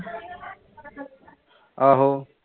ਆਹੋ